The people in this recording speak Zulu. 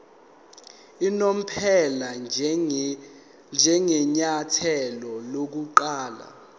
unomphela njengenyathelo lokuqala